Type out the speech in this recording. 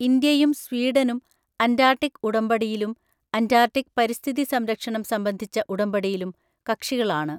ഇന്ത്യയും, സ്വീഡനും അൻറ്റാർട്ടിക് ഉടമ്പടിയിലും, അൻറ്റാർട്ടിക് പരിസ്ഥിതി സംരക്ഷണം സംബന്ധിച്ച ഉടമ്പടിയിലും കക്ഷികളാണ്.